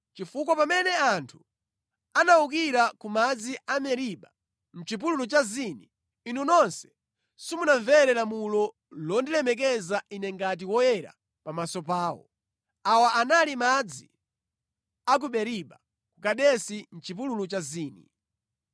chifukwa pamene anthu anawukira ku madzi a Meriba mʼchipululu cha Zini, inu nonse simunamvere lamulo londilemekeza Ine ngati Woyera pamaso pawo.” (Awa anali madzi a ku Meriba ku Kadesi mʼchipululu cha Zini).